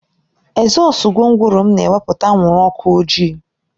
Ezọsu gwongworo m na-ewepụta anwụrụ ọkụ ojii